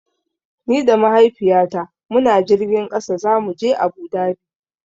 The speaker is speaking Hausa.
Ni da Mahaifiyata muna jirgin ƙasa zamu je Abu Dhabi.